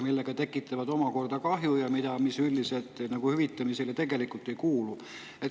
Nii nad tekitavad kahju, mis üldiselt hüvitamisele ei kuulu.